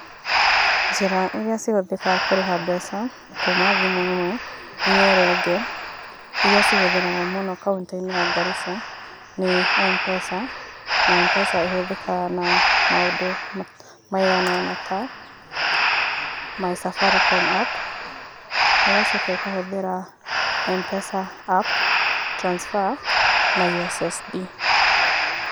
Njĩra iria cihũthĩkaga kũrĩha mbeca kuma thimũ ĩmwe nginya ĩrĩa ĩngĩ ĩria cihũthagĩrwo mũno kaunti-inĩ ya Garissa nĩ Mpesa. Na Mpesa ĩhũthĩkaga na maũndũ maigana ona ta My Safaricom app, ĩgacoka ĩkahũthĩra Mpesa App, transfer na ussd.